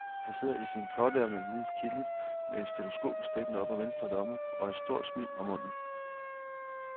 Han sidder i sin kortærmede, hvide kittel med et stetoskop stikkende op af venstre lomme og et stort smil om munden.